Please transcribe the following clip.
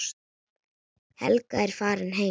Helga er farin heim.